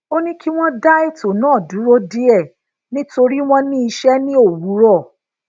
ó ní kí wón da eto naa duro die nítori won ní ise ní òwúrò